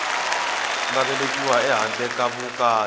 nga velekiwa ehandle ka vukati